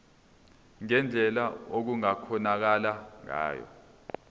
ngendlela okungakhonakala ngayo